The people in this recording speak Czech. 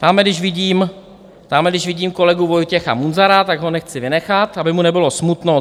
Tamhle když vidím kolegu Vojtěcha Munzara, tak ho nechci vynechat, aby mu nebylo smutno.